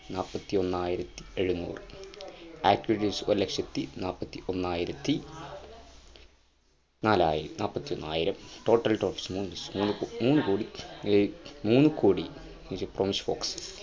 നാപ്പത്തിയൊന്നായിരത്തി ഏഴുന്നൂർ ഒരു ലക്ഷത്തി നാപ്പത്തിഒന്നയിരത്തി നാലായിരം total മൂന്ന് കോടി great മൂന്ന് കോടി